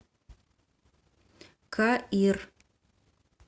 каир